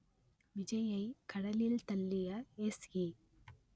விஜய்யை கடலில் தள்ளிய எஸ்ஏ